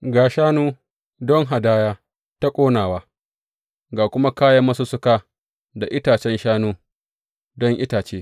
Ga shanu, don hadaya ta ƙonawa, ga kuma kayan masussuka da itacen shanu, don itace.